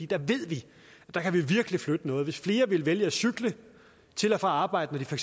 der ved vi at vi virkelig kan flytte noget hvis flere ville vælge at cykle til og fra arbejde når de for